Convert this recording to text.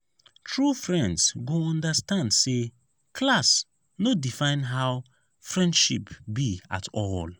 true friends go understand say class no define how friendship be at all.